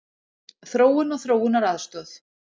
Þróun og þróunaraðstoð.